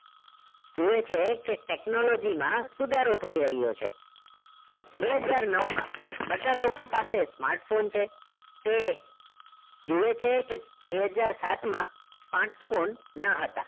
જોઈએ છે કે technology માં સુધારો થઈ રહ્યો છે બે હજાર નવ માં બધા જ લોકો પાસે smartphone છે તે જોઈએ છે કે બે હજાર સાત માં smartphones ન હતા.